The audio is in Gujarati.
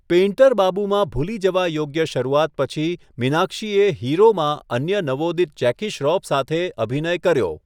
પેઇન્ટર બાબુમાં ભૂલી જવા યોગ્ય શરૂઆત પછી મીનાક્ષીએ 'હીરો' માં અન્ય નવોદિત જેકી શ્રોફ સાથે અભિનય કર્યો.